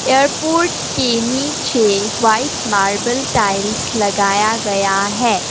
Airport के नीचे white marble tiles लगाया गया है।